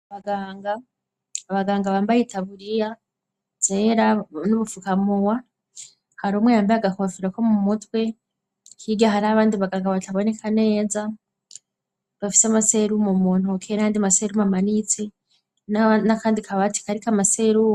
Gabaganga bambaye itaburiya zera n'ubupfukamuwa hari umwe yambaye agakofera ko mu mutwe higa hari abandi baganga bataboneka neza bafise amaselu mu muntu kera handi maselumu amanitse n'akandi kabati karika amaseluwa.